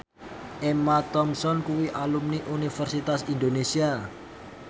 Emma Thompson kuwi alumni Universitas Indonesia